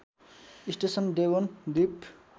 station Devon द्वीप